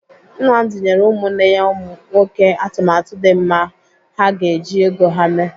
Nnamdi nyere ụmụnne ya nwoke atụmatụ dị mma ha ga-eji ego ha eme.